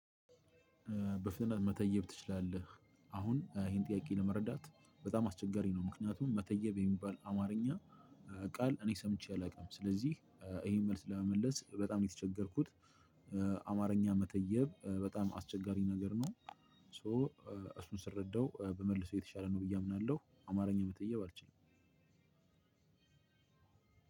በፍጥነት መተየብ ትችላለህ አሁን ይሄን ጥያቄ ለመረዳት በጣም አስቸጋሪ ነው። ምክንያቱም መተየብ የሚባል አማርኛ ቃል እኔ ሰምቼ አላቅም። ስለዚህ ይሄን መልስ ለመመለስ በጣም ነው የተቸገርኩት። አማርኛ መተየብ በጣም አስቸጋሪ ነገር ነው። ሶ እሱን ስረዳው በመልሰው የተሻለ ነው ብዬ አምናለሁ። አማርኛ መተየብ አልችልም።